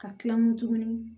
Ka kila nkun